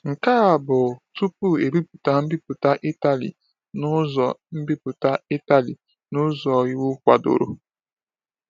Nke a bụ tupu e bipụta mbipụta Itali n’ụzọ mbipụta Itali n’ụzọ iwu kwadoro.